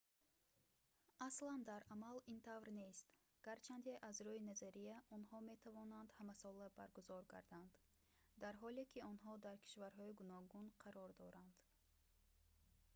аслан дар амал ин тавр нест гарчанде аз рӯи назария онҳо метавонанд ҳамасола баргузор гарданд дар ҳоле ки онҳо дар кишварҳои гуногун қарор доранд